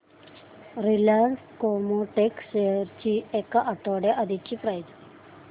Reliance Chemotex shares ची एक आठवड्या आधीची प्राइस